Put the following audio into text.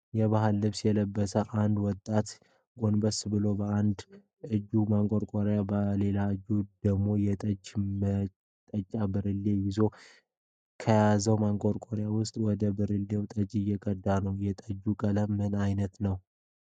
የባህል ልብስ የለበሰ አንድ ወጣት ጎንበስ ብሎ በአንድ እጁ ማንቆርቆሪያ በሌላ እጁ ደግሞ የጠጅ መጠጫ ብርሌን ይዟል። ከያዘው ማንቆርቆሪያ ዉስጥም ወደ ብርሌው ጠጅ እየተቀዳ ነው። የጠጁ ቀለም ምን አይነት ነው?